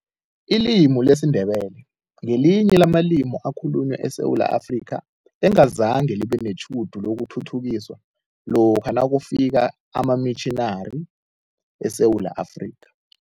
Ilimi lesiNdebele ngelinye lamalimi akhulunywa eSewula Afrika, engazange libe netjhudu lokuthuthukiswa lokha nakufika amamitjhinari eSewula Afrika.